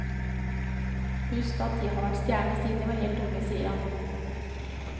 Husk at de har vært stjerner siden de var helt unge, sier han.